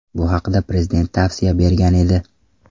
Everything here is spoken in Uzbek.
Bu haqda Prezident tavsiya bergan edi.